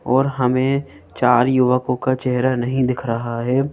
और हमें चार युवकों का चेहरा नहीं दिख रहा है।